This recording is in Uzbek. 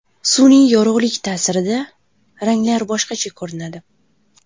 Sun’iy yorug‘lik ta’sirida ranglar boshqacha ko‘rinadi.